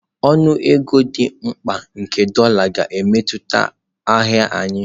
Ọnụ ego dị mkpa nke dolá ga-emetụta ahịa ahịa.